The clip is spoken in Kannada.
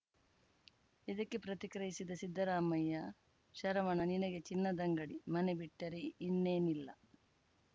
ಇದಕ್ಕೆ ಪ್ರತಿಕ್ರಿಯಿಸಿದ ಸಿದ್ದರಾಮಯ್ಯ ಶರವಣ ನಿನಗೆ ಚಿನ್ನದಂಗಡಿ ಮನೆ ಬಿಟ್ಟರೆ ಇನ್ನೇನು ಇಲ್ಲ